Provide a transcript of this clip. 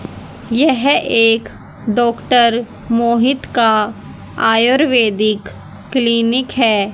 यह एक डॉक्टर मोहित का आयुर्वेदिक क्लीनिक है।